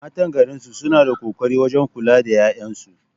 Matan garin suna da ƙoƙari wajen kula da ƴaƴansu